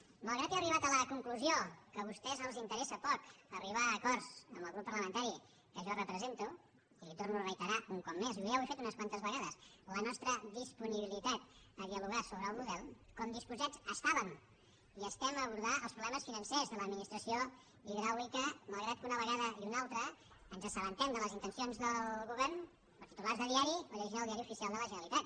malgrat que he arribat a la conclusió que a vostès els interessa poc arribar a acords amb el grup parlamentari que jo represento li torno a reiterar un cop més ja ho he fet unes quantes vegades la nostra disponibilitat a dialogar sobre el model com disposats estàvem i estem a abordar els problemes financers de l’administració hidràulica malgrat que una vegada i una altra ens assabentem de les intencions del govern per titulars de diari o llegint el diari oficial de la generalitat